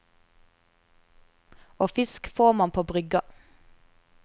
Og fisk får man på brygga.